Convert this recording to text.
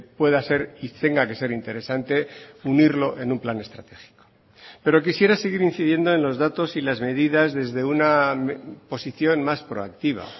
pueda ser y tenga que ser interesante unirlo en un plan estratégico pero quisiera seguir incidiendo en los datos y las medidas desde una posición más proactiva